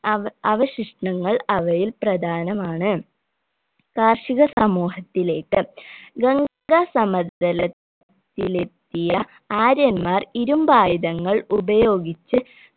അവ അവശിഷ്ട്ടങ്ങൾ അവയിൽ പ്രധാനമാണ് കാർഷിക സമൂഹത്തിലേക്ക് ഗംഗാ സമതലത്തിലെത്തിയ ആര്യന്മാർ ഇരുമ്പായുധങ്ങൾ ഉപയോഗിച്ച്